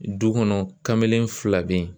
Du kɔnɔ kamalen fila bɛ yen